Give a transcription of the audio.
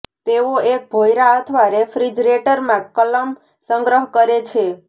તેઓ એક ભોંયરા અથવા રેફ્રિજરેટરમાં કલમ સંગ્રહ કરે છે